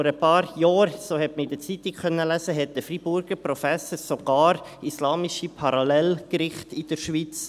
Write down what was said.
Vor ein paar Jahren – das konnte man in der Zeitung lesen – forderte ein Freiburger Professor sogar islamische Parallelgerichte in der Schweiz.